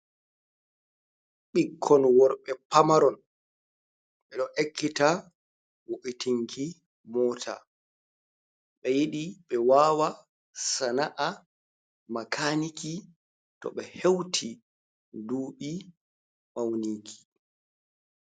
Ɓikkon worɓe pamaron, ɓe ɗo ekkita wo’itinki mota ɓe yiɗi ɓe wawa sana'a makaniki to ɓe heuti duuɓi mauniki.